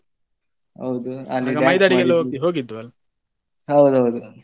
ಹೌದು ಅಲ್ಲಿ dance ಹೌದೌದು.